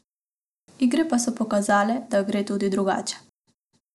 Igre pa so pokazale, da gre tudi drugače.